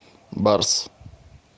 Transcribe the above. барс